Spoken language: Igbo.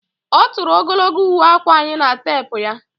Ọ tụrụ ogologo uwe akwa anyị na teepu ya